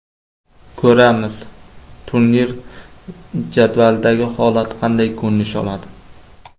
Ko‘ramiz, turnir jadvalidagi holat qanday ko‘rinish oladi.